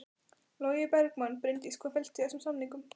Logi Bergmann: Bryndís hvað felst í þessum samningum?